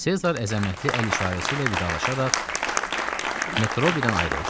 Sezar əzəmətli əl işarəsi ilə vidalaşaraq Metrobidən ayrıldı.